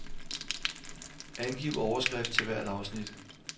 Angiv overskrift til hvert afsnit.